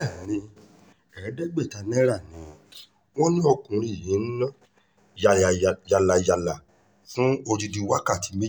bẹ́ẹ́lí ẹ̀ẹ́dẹ́gbẹ̀ta náírà ni wọ́n ní ọkùnrin yìí ń nà yàlàyàlà fún odidi wákàtí méjì